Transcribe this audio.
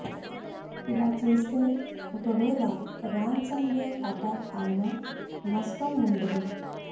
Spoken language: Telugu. ఇలా చేస్తే ఒక వేళ ర్యాన్సమ్వేర్ అటాక్ అయినా నష్టం ఉండదు